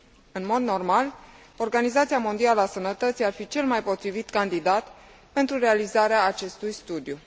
În mod normal, Organizația Mondială a Sănătății ar fi cel mai potrivit candidat pentru realizarea acestui studiu.